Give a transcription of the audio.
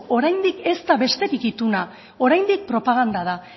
oraindik ez da besterik ituna oraindik propaganda da